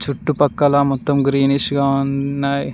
చుట్టుపక్కల మొత్తం గ్రీనిష్ గా ఉన్నాయి.